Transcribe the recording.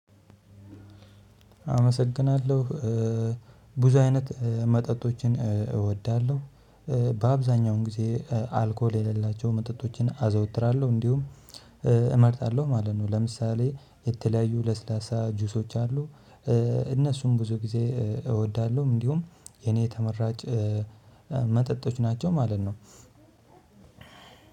አመሰግናለሁ እ ብዙ አይነት መጠጦችን እወዳለሁ እ በአብዛኛውን ጊዜ እ አልኮል የሌላቸውን መጠጦችን አዘወትራለሁ እንዲሁም እ እመርጣለሁ ማለት ነው። ለምሳሌ የተለያዩ ለስላሳ ጁሶች አሉ እ እነሱም ብዙ ጊዜ እወዳለሁም። እንዲሁም የኔ ተመራጭ እ መጠጦች ናቸው ማለት ነው።